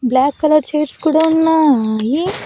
Black colour chairs కూడా ఉన్నాయి.